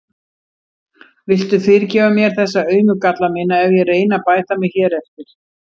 Viltu fyrirgefa mér þessa aumu galla mína ef ég reyni að bæta mig hér eftir?